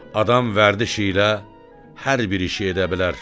Adam vərdişi ilə hər bir işi edə bilər.